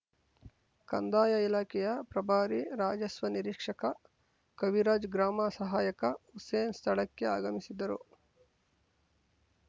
ಕಂದಾಯ ಇಲಾಖೆಯ ಪ್ರಭಾರಿ ರಾಜಸ್ವ ನೀರಿಕ್ಷಕ ಕವಿರಾಜ್‌ ಗ್ರಾಮ ಸಹಾಯಕ ಹುಸೇನ್‌ ಸ್ಥಳಕ್ಕೆ ಆಗಮಿಸಿದ್ದರು